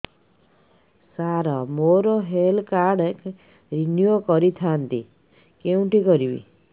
ସାର ମୋର health card renew କରିଥାନ୍ତି କେଉଁଠି କରିବି